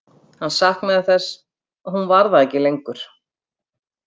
Hann saknaði þess að hún var það ekki lengur.